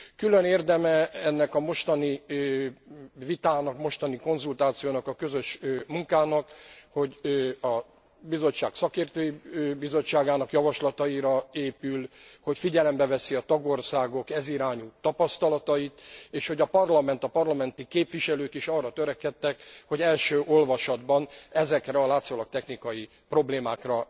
Külön érdeme ennek a mostani vitának, mostani konzultációnak, a közös munkának, hogy a Bizottság szakértői bizottságának javaslataira épül, hogy figyelembe veszi a tagországok ez irányú tapasztalatait, és hogy a Parlament, a parlamenti képviselők is arra törekedtek, hogy első olvasatban ezekre a látszólag technikai problémákra